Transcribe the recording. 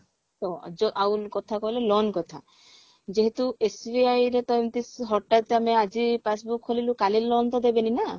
ତ ଯ ଆଉ ଗୋଟେ କଥା କହିଲ loan କଥା ଯେହେତୁ SBI ରେ ତ ଏମତି ହଟାତ ଆମେ ଆଜି passbook ଖୋଲିଲୁ କାଲି loan ତ ଦେବେନି ନା